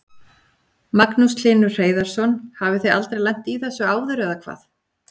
Magnús Hlynur Hreiðarsson: Hafið þið aldrei lent í þessu áður eða hvað?